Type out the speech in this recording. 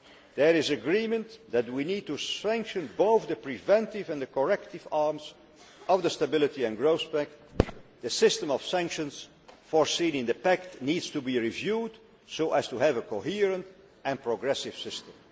There was agreement that we need to strengthen both the preventive and the corrective arms of the Stability and Growth Pact the system of sanctions for sealing the pact needs to be reviewed so as to have a coherent and progressive system.